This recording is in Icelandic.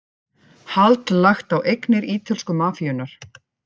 Hald lagt á eignir ítölsku mafíunnar